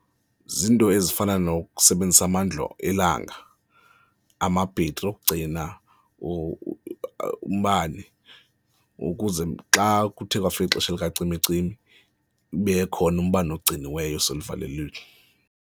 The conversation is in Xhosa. Ziinto ezifana nokusebenzisa amandla elanga, amabhetri okugcina umbane ukuze xa kuthe kwafika ixesha lukacimicimi ube khona umbane ogciniweyo oseluvalelweni.